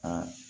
Aa